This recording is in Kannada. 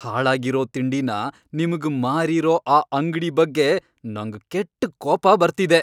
ಹಾಳಾಗಿರೋ ತಿಂಡಿನ ನಿಮ್ಗ್ ಮಾರಿರೋ ಆ ಅಂಗ್ಡಿ ಬಗ್ಗೆ ನಂಗ್ ಕೆಟ್ಟ್ ಕೋಪ ಬರ್ತಿದೆ.